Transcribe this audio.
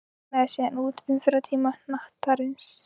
Gauss reiknaði síðan út umferðartíma hnattarins.